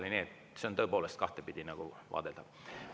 Nii et see on tõepoolest kahtepidi vaadeldav.